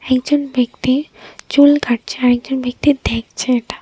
একজন ব্যক্তি চুল কাটছে আর একজন ব্যক্তি দেখছে এটা।